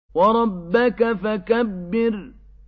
وَرَبَّكَ فَكَبِّرْ